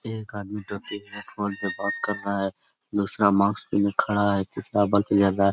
एक आदमी ट्रक के बात कर रहा है दूसरा मार्क्स पहने खड़ा है तीसरा ज्यादा।